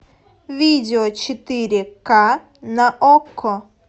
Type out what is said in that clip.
видео четыре ка на окко